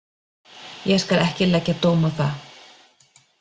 Ég skal ekki leggja dóm á það.